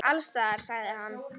Alls staðar, sagði hann.